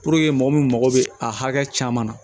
mɔgɔ min mago bɛ a caman na